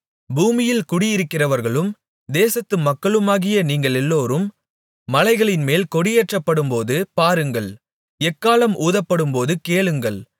பூமியில் குடியிருக்கிறவர்களும் தேசத்து மக்களுமாகிய நீங்களெல்லோரும் மலைகளின்மேல் கொடியேற்றப்படும்போது பாருங்கள் எக்காளம் ஊதப்படும்போது கேளுங்கள்